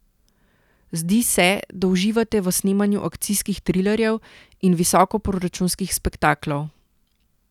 Zdi se, da uživate v snemanju akcijskih trilerjev in visokoproračunskih spektaklov.